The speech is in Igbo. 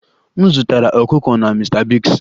M zụtara ọkụkọ na Mr biggs